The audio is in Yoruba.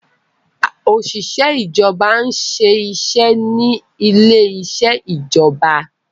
Oṣiṣẹ ìjọba n'se iṣé ní ilè iṣe ìjọba